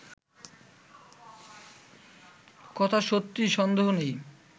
কথা সত্য সন্দেহ নেই